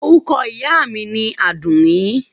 Orúkọ ìyá mi ni Àdùnní.